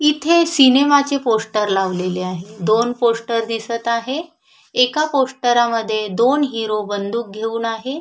इथे सिनेमा चे पोस्टर लावलेले आहे दोन पोस्टर दिसत आहे एका पोस्टरा मध्ये दोन हीरो बंदूक घेऊन आहे.